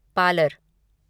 parlour